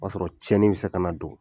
O b'a sɔrɔ cɛnnin mi se ka na don